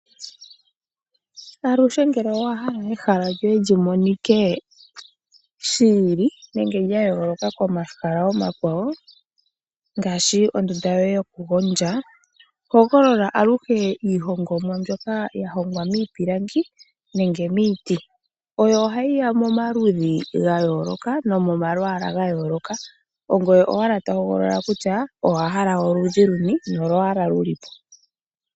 Aluhe ngele owahala ehala lyoye lyi monike shiili nenge lya yooloka komahala omakwawo ngaashi oondunda yoye yo ku gondja hogolola aluhe iihongomwa mbyoka ya hongwa miipilangi nenge miiti. Oyo hayi ya momaludhi ga yooloka nenge momalwaala ga yooloka, ongoye owala to hogolola kutya owahala oludhi luni nolwaala luni po.